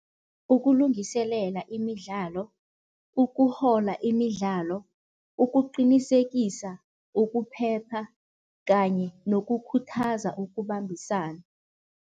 Ukulungiselela imidlalo, ukuhola imidlalo, ukuqinisekisa ukuphepha kanye nokukhuthaza ukubambisana.